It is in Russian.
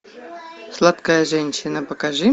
сладкая женщина покажи